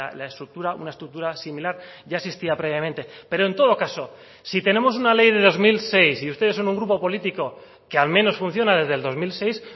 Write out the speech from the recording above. la estructura una estructura similar ya existía previamente pero en todo caso si tenemos una ley de dos mil seis y ustedes son un grupo político que al menos funciona desde el dos mil seis